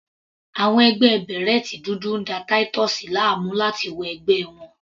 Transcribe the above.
Àwọn ẹgbẹ́ bèrẹ́tì dúdú ń da Titus láàmú láti wọ ẹgbẹ́ àwọn.